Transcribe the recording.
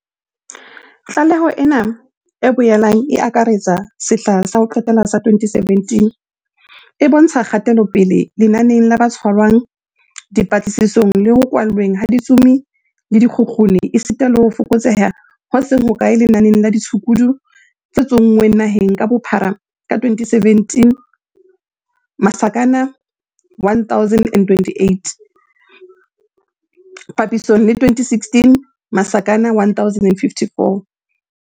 Tlaleho ena, e boelang e akaretsa sehla sa ho qetela sa 2017, e bontsha kgatelopele lenaneng la ba tshwarwang, dipatlisisong le ho kwallweng ha ditsomi le dikgukguni esita le ho fokotseha ho seng hokae lenaneng la ditshukudu tse tso nngweng naheng ka bophara ka 2017, 1028, papisong le 2016, 1054.